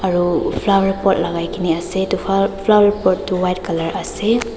aro flower pot lakai kena ase aro edu flower pot toh white colour ase.